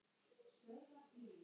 Og svo kom golfið.